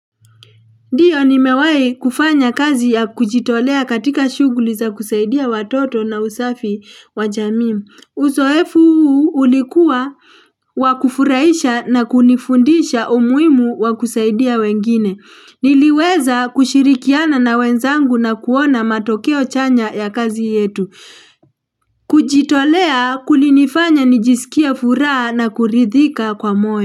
Ndiyo ni mewahi kufanya kazi ya kujitolea katika shughuli za kusaidia watoto na usafi wa jamii Uzoefu ulikuwa wakufurahisha na kunifundisha umuhimu wakusaidia wengine. Niliweza kushirikiana na wenzangu na kuona matokeo chanya ya kazi yetu. Kujitolea kulinifanya nijisikia furaha na kuridhika kwa moyo.